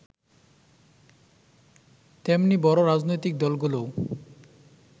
তেমনি বড় রাজনৈতিক দলগুলোও